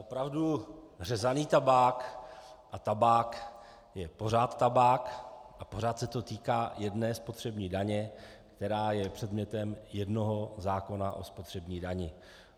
Opravdu, řezaný tabák a tabák je pořád tabák a pořád se to týká jedné spotřební daně, která je předmětem jednoho zákona o spotřební dani.